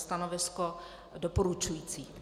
Stanovisko doporučující.